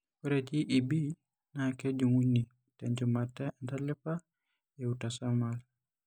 Ore JEB naa kejung'uni tenchumata entalipa eautosomal.